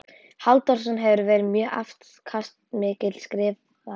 Halldórssonar, sem hafi verið mjög afkastamikill skrifari.